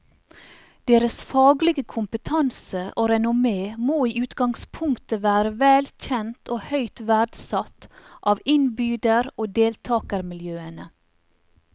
Deres faglige kompetanse og renommé må i utgangspunktet være vel kjent og høyt verdsatt av innbyder og deltagermiljøene.